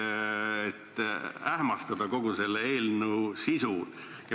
Kas selleks, et ähmastada kogu selle eelnõu sisu?